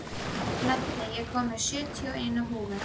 Laddi, ég kom með sjötíu og eina húfur!